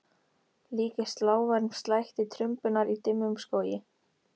Líkist lágværum slætti trumbunnar í dimmum skógi.